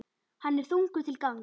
Hann er þungur til gangs.